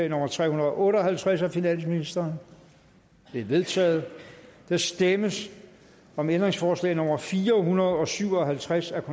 nummer tre hundrede og otte og halvtreds af finansministeren det er vedtaget der stemmes om ændringsforslag nummer fire hundrede og syv og halvtreds af